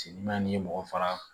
Seli n'an ni mɔgɔ faga